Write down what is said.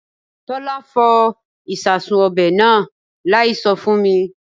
Tọ́lá fọ ìsasùn ọbẹ̀ náà láì sọ fún mi